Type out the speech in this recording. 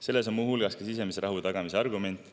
Sellel on muu hulgas sisemise rahu tagamise argument.